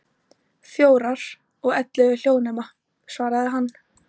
Fjórar, og ellefu hljóðnema, svaraði hann.